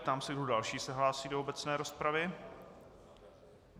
Ptám se, kdo další se hlásí do obecné rozpravy?